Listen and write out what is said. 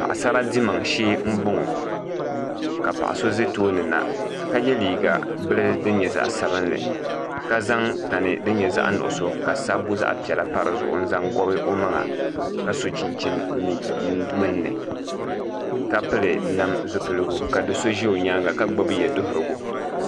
Paɣasara dimaŋ shee n boŋo ka paɣa so ʒɛ tooni na ka yɛ liiga bili din nyɛ zaɣ sabinli ka zaŋ tani din nyɛ zaɣ nuɣso ka sabbu zaɣ piɛla pa dizuɣu n zaŋ ka n gobi o maŋa ka so chinchin gbunni ka pili nam zipiligu ka do so ʒɛ o nyaanga ka gbubi yɛ duɣurigu